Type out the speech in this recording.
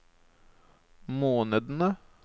månedene